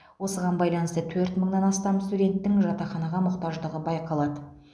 осыған байланысты төрт мыңнан астам студенттің жатақханаға мұқтаждығы байқалады